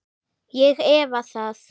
Ég efa það.